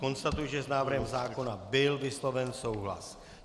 Konstatuji, že s návrhem zákona byl vysloven souhlas.